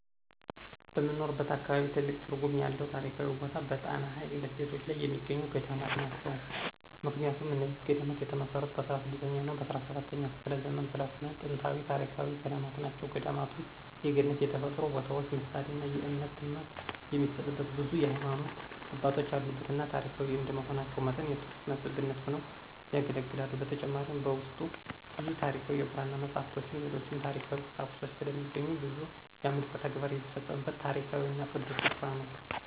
በምኖርበት አካባቢ ትልቅ ትርጉም ያለው ታሪካዊ ቦታ በጣና ሀይቅ ደሴቶች ላይ የሚገኙት ገዳማት ናቸው። ምክንያቱም እነዚህ ገዳማት የተመሰረቱት በ16ኛ እና በ17ኛ ክፍለ ዘመን ስለሆነ ጥንታዊና ታሪካዊ ገዳማት ናቸው። ገዳማቱም የገነት የተፈጥሮ ቦታዎች ምሳሌና የእምነት ትምህርት የሚሰጥበት ብዙ የሀይማኖት አባቶች ያሉበትና ታሪካዊ እንደመሆናቸው መጠን የቱሪስት መስህብነት ሆነው ያገለግላሉ። በተጨማሪም በውስጡ ብዙ ታሪካዊ የብራና መፅሃፍቶችን ሌሎችም ታሪካዊ ቁሳቁሶች ስለሚገኙ ብዙ የአምልኮ ተግባር የሚፈፀምበት ታሪካዊና ቅዱስ ስፍራ ነው።